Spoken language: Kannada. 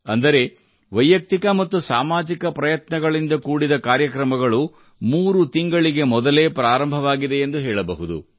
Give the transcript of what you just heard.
ಅಂದರೆ ವೈಯಕ್ತಿಕ ಮತ್ತು ಸಾಮಾಜಿಕ ಪ್ರಯತ್ನಗಳಿಂದ ಕೂಡಿದ ಕಾರ್ಯಕ್ರಮಗಳು ಮೂರು ತಿಂಗಳಿಗೆ ಮೊದಲೇ ಪ್ರಾರಂಭವಾಗಿದೆ ಎಂದು ಹೇಳಬಹುದು